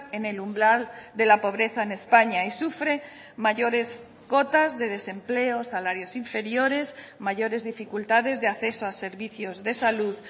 en el umbral de la pobreza en españa y sufre mayores cotas de desempleo salarios inferiores mayores dificultades de acceso a servicios de salud